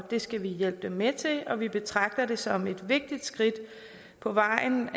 skal vi hjælpe dem med til og vi betragter det som et vigtigt skridt på vejen